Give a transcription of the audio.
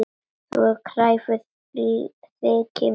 Þú ert kræfur, þykir mér.